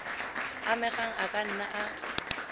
amegang a ka nna a